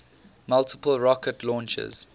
multiple rocket launchers